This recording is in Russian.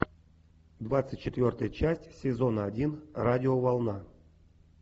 двадцать четвертая часть сезона один радиоволна